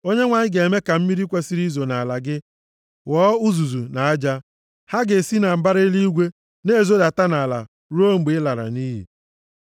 Onyenwe anyị ga-eme ka mmiri kwesiri izo nʼala gị ghọọ uzuzu na aja. Ha ga-esi na mbara eluigwe na-ezodata nʼala tutu ruo mgbe ị lara nʼiyi.